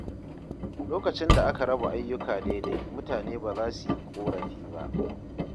Lokacin da aka raba ayyuka daidai, mutane ba za su yi korafi ba.